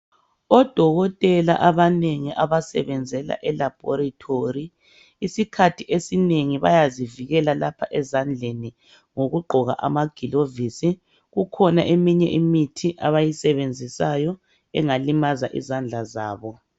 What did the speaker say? Odokotela abanengi abasebenzela elaboritori isikhathi esinengi bayazivikela lapha ezandleni ngokugqoka amagilovisi kukhona eminye imithi abayisebenzisayo engalimaza izandla zabo.